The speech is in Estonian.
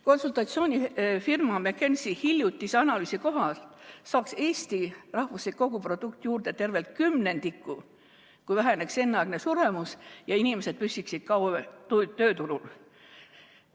Konsultatsioonifirma McKinsey hiljutise analüüsi kohaselt saaks Eesti rahvuslik koguprodukt juurde tervelt kümnendiku, kui väheneks enneaegne suremus ja inimesed püsiksid kauem tööturul.